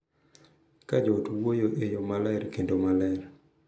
Ka jo ot wuoyo e yo maler kendo maler,